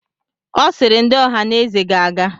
Ọ sịịrị, ndị Ohaneze ga-aga!